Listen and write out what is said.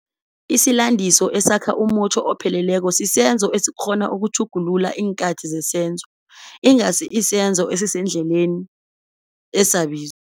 Isilandiso esakha umutjho opheleleko sisenzo esikghona ukutjhugutjhugulula iinkhathi zesenzo, finite verb, ingasi isenzo esisendlelni esabizo, infinitive.